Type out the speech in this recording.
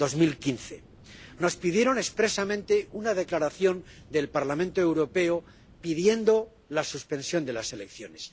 2015. Nos pidieron expresamente una declaración del Parlamento Europeo pidiendo la suspensión de las elecciones.